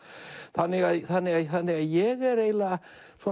þannig að þannig að þannig að ég er eiginlega